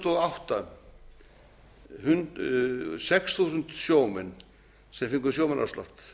og átta sex þúsund sjómenn sem fengu sjómannaafslátt